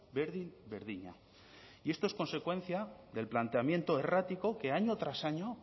berdin berdina y esto es consecuencia del planteamiento errático que año tras año